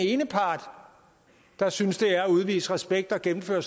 ene part der synes det er at udvise respekt at gennemføre